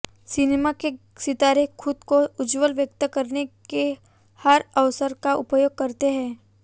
cinema के सितारे खुद को उज्ज्वल व्यक्त करने के हर अवसर का उपयोग करते हैं